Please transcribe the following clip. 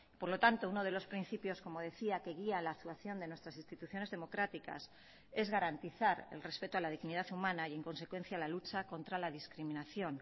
por lo tanto uno de los principios como decía que guía la actuación de nuestras instituciones democráticas es garantizar el respeto a la dignidad humana y en consecuencia a la lucha contra la discriminación